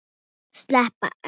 Spælt egg.